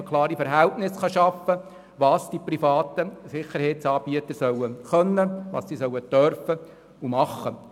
Man wollte definiert haben, was die privaten Sicherheitsanbieter können und dürfen.